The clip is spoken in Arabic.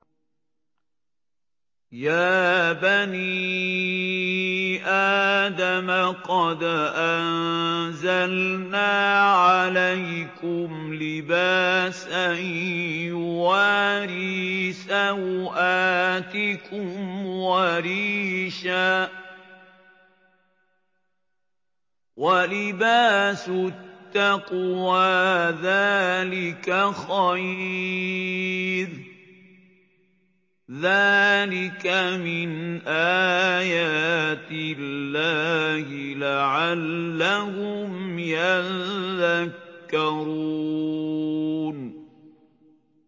يَا بَنِي آدَمَ قَدْ أَنزَلْنَا عَلَيْكُمْ لِبَاسًا يُوَارِي سَوْآتِكُمْ وَرِيشًا ۖ وَلِبَاسُ التَّقْوَىٰ ذَٰلِكَ خَيْرٌ ۚ ذَٰلِكَ مِنْ آيَاتِ اللَّهِ لَعَلَّهُمْ يَذَّكَّرُونَ